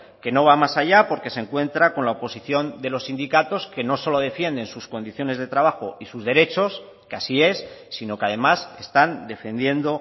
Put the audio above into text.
que no va más allá porque se encuentra con la oposición de los sindicatos que no solo defienden sus condiciones de trabajo y sus derechos que así es sino que además están defendiendo